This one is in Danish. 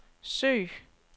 søg